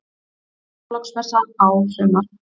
Nú er Þorláksmessa á sumar.